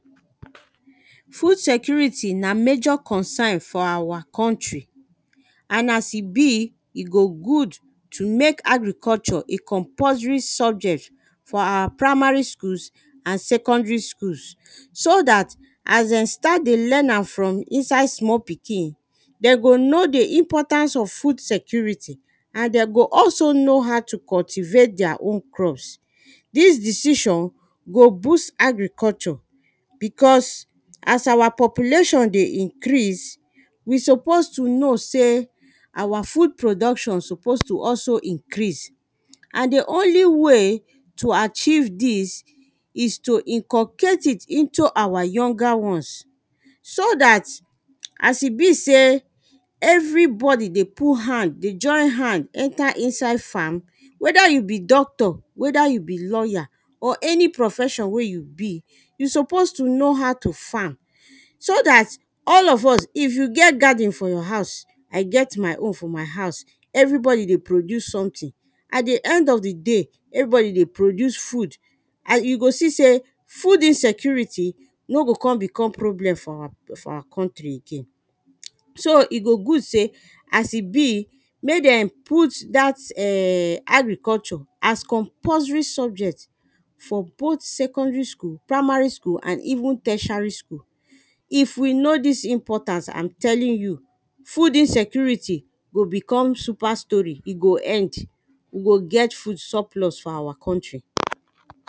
Food security na major concern for awa country, and as e be, e go good to mek agriculture a compulsory subject for awa primary schools and secondary schools, so dat as de start dey learn am from small pikin, dem go know di importance of food security and de go also know how to cultivate deir own crops. Dis decision go boost agriculture, because as awa population dey increase, we suppose to know sey awa food production suppose to also increase, and di only way to achieve dis is to inculcate it into awa younger ones. So dat as e be sey everybody dey put hand, dey join hand enter inside farm, wether you be doctor, wether you be lawyer or any profession wey you be, you suppose to know how to farm, so dat all of us, if you get garden for your house, I get my own for my house, everybody dey produce something, at di end of di day everybody dey produce food, and you go see sey, food insecurity no go con become problem for awa, for awa country again. So e go good sey as e be, mek dem put dat err agriculture as compulsory subject for both secondary school, primary school, and even tertiary school. If we know dis importance, am telling you food insecurity go become super story, e go end, e go get food surplus for awa country.